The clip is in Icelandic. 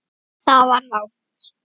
ÞAÐ VAR RANGT.